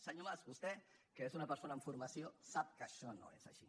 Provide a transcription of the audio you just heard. senyor mas vostè que és una persona amb formació sap que això no és així